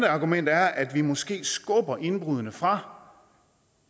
argument er at vi måske skubber indbruddene fra